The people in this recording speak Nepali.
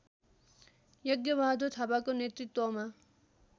यज्ञबहादुर थापाको नेतृत्वमा